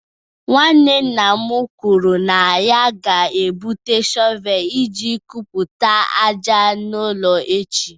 Nwanne nna m kwuru na ya ga-ebute shọvel iji kpokọta ájá n'ụlọ echi.